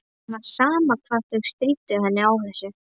Það var sama hvað þau stríddu henni á þessu.